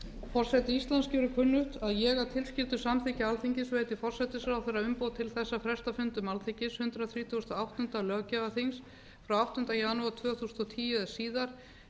forseti íslands gerir kunnugt að ég að tilskildu samþykki alþingis veiti forsætisráðherra umboð til þess að fresta fundum alþingis hundrað þrítugasta og áttunda löggjafarþings frá áttunda janúar tvö þúsund og tíu eða síðar ef nauðsyn krefur til